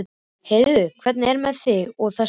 Heyrðu, hvernig er með þig og þessa stelpu?